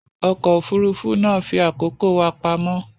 Ọkọ̀ òfurufú náà fi àkókò wa pamọ́